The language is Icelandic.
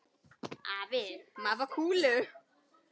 Afi, má ég fá kúlu?